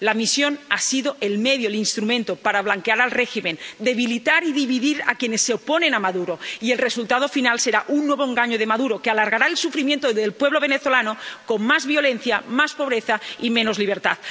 La misión ha sido el medio, el instrumento para blanquear al régimen, debilitar y dividir a quienes se oponen a Maduro, y el resultado final será un nuevo engaño de Maduro, que alargará el sufrimiento del pueblo venezolano con más violencia, más pobreza y menos libertad.